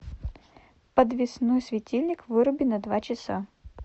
подвесной светильник выруби на два часа